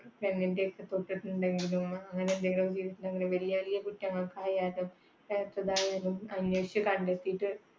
വലിയ വലിയ കുറ്റങ്ങൾക്കായാലും അന്വേഷിച്ച് കണ്ടെത്തിയിട്ട്